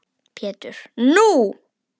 Pétur: Nú!